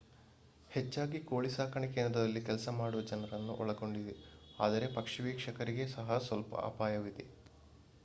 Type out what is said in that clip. ಹೆಚ್ಚಾಗಿ ಕೋಳಿ ಸಾಕಾಣೆ ಕೇಂದ್ರದಲ್ಲಿ ಕೆಲಸ ಮಾಡುವ ಜನರನ್ನು ಒಳಗೊಂಡಿದೆ ಆದರೆ ಪಕ್ಷಿ ವೀಕ್ಷಕರಿಗೆ ಸಹ ಸ್ವಲ್ಪ ಅಪಾಯವಿದೆ